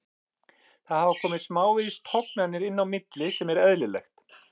Það hafa komið smávegis tognanir inn á milli sem er eðlilegt.